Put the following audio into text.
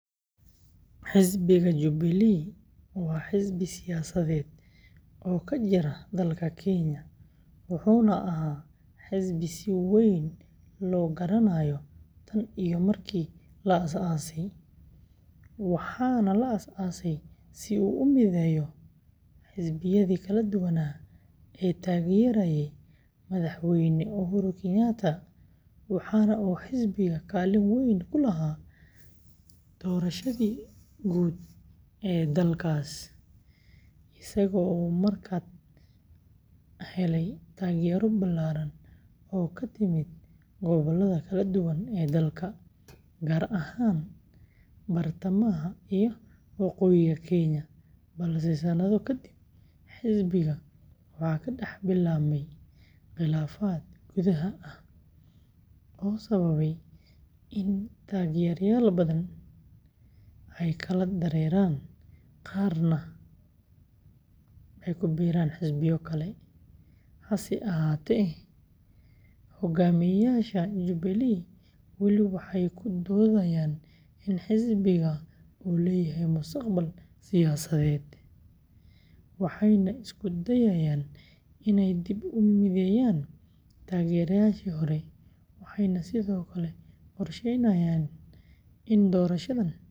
Xisbiga Jubilee waa xisbi siyaasadeed oo ka jira dalka Kenya, wuxuuna ahaa xisbi si weyn loo garanayo tan iyo markii la aasaasay waxaana la aasaasay si uu u mideeyo xisbiyadii kala duwanaa ee taageerayay madaxweyne Uhuru Kenyatta, waxaana uu xisbiga kaalin weyn ku lahaa doorashadii, isagoo markaa helay taageero ballaaran oo ka timid gobollada kala duwan ee dalka, gaar ahaan bartamaha iyo waqooyiga Kenya, balse sanado ka dib, xisbiga waxaa ka dhex bilaabmay khilaafaad gudaha ah oo sababay in taageerayaal badan ay kala dareeraan, qaarna ay ku biiraan xisbiyo kale, hase ahaatee, hoggaamiyeyaasha Jubilee weli waxay ku doodayaan in xisbiga uu leeyahay mustaqbal siyaasadeed, waxayna isku dayayaan inay dib u mideeyaan taageerayaashii hore, waxayna sidoo kale qorsheynayaan in doorashada.